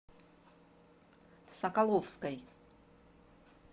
соколовской